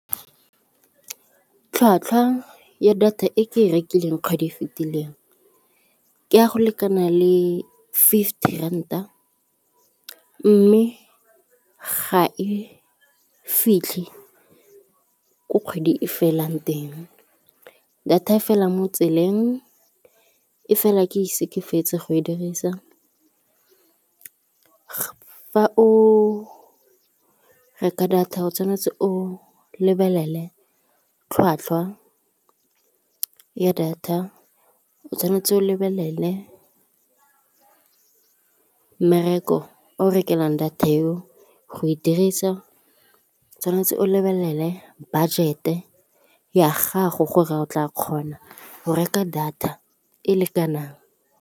Tlhwatlhwa ya data e ke e rekileng kgwedi e fitileng ke a go lekana le fifty ranta mme ga e fitlhe ko kgwedi e felang teng data e fela mo tseleng e fela ke ise ke fetse go e dirisa. Fa o reka data o tshwanetse o lebelele tlhwatlhwa ya data, o tshwanetse o lebelele mmereko e o e rekelang data e o go e dirisa, tshwanetse o lebelele budget-e ya gago gore o tla kgona go reka data e lekanang.